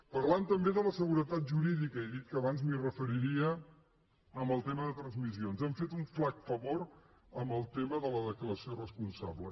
parlant també de la seguretat jurídica he dit abans que m’hi referiria en el tema de transmissions han fet un flac favor amb el tema de la declaració respon·sable